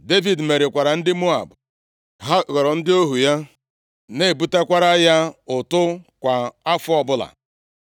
Devid merikwara ndị Moab, ha ghọrọ ndị ohu ya, na-ebutakwara ya ụtụ kwa afọ ọbụla.